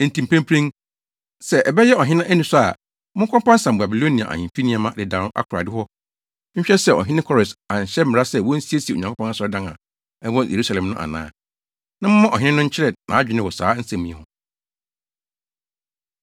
Enti mprempren, sɛ ɛbɛyɛ ɔhene anisɔ a, monkɔsampam Babilonia ahemfi nneɛma dedaw akorae hɔ nhwɛ sɛ ɔhene Kores anhyɛ mmara sɛ wonsiesie Onyankopɔn asɔredan a ɛwɔ Yerusalem no ana. Na momma ɔhene no nkyerɛ nʼadwene wɔ saa asɛm yi ho.